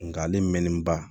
Nka ale mɛnnen ba